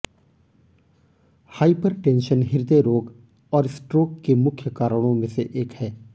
hypertension हृदय रोग और स्ट्रोक के मुख्य कारणों में से एक है